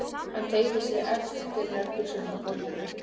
Hann teygði sig eftir nærbuxunum á gólfinu.